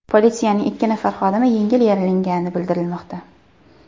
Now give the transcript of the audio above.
Politsiyaning ikki nafar xodimi yengil yaralangani bildirilmoqda.